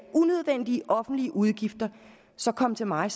unødvendige offentlige udgifter så kom til mig